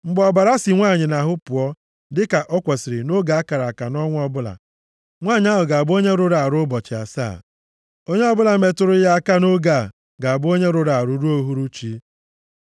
“ ‘Mgbe ọbara si nwanyị nʼahụ pụọ dịka o kwesiri nʼoge a kara aka nʼọnwa ọbụla, nwanyị ahụ ga-abụ onye rụrụ arụ ụbọchị asaa. Onye ọbụla metụrụ ya aka nʼoge a ga-abụ onye rụrụ arụ ruo uhuruchi.